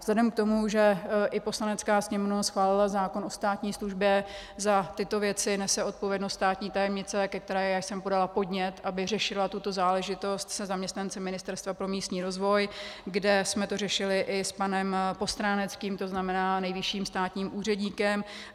Vzhledem k tomu, že i Poslanecká sněmovna schválila zákon o státní službě, za tyto věci nese odpovědnost státní tajemnice, ke které jsem podala podnět, aby řešila tuto záležitost se zaměstnanci Ministerstva pro místní rozvoj, kde jsme to řešili i s panem Postráneckým, to znamená nejvyšším státním úředníkem.